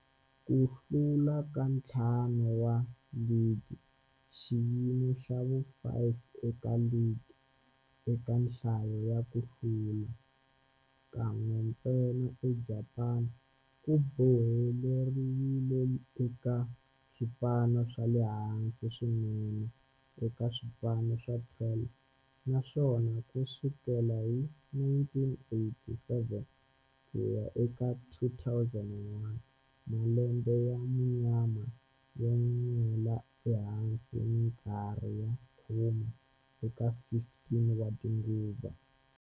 Ku hlula ka ntlhanu wa ligi, xiyimo xa vu-5 eka ligi eka nhlayo ya ku hlula, kan'we ntsena eJapani, ku boheleriwile eka swipano swa le hansi swinene eka swipano swa 12, naswona ku sukela hi 1987 ku ya eka 2001, malembe ya munyama yo nwela ehansi minkarhi ya khume eka 15 tinguva.